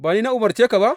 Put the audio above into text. Ba ni na umarce ka ba?